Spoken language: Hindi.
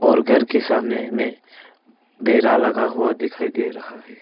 और घर के सामने में बेरा लगा हुआ दिखाई दे रहा है।